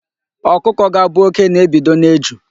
Ọkụkọ ga-abụ oke na-ebido n'eju.